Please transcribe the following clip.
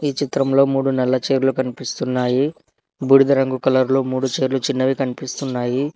ఈ చిత్రంలో మూడు నల్ల చేర్లు కనిపిస్తున్నాయి బూడిద రంగు కలర్లు మూడు చైర్లు చిన్నవి కనిపిస్తున్నాయి.